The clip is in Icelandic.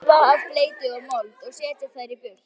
Þrífa af bleytu og mold og setja þær í þurrt.